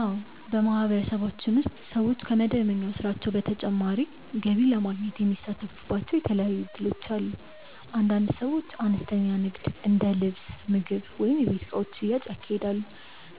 አዎ፣ በማህበረሰባችን ውስጥ ሰዎች ከመደበኛ ስራቸው በተጨማሪ ገቢ ለማግኘት የሚሳተፉባቸው የተለያዩ እድሎች አሉ። አንዳንድ ሰዎች አነስተኛ ንግድ እንደ ልብስ፣ ምግብ ወይም የቤት እቃዎች ሽያጭ ያካሂዳሉ፣